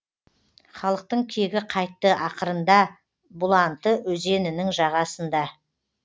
халықтың кегі қайтты ақырында бұланты өзенінің жағасында